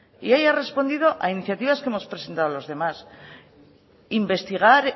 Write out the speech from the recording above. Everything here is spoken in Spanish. y ahí ha respondido a iniciativas que hemos presentado los demás investigar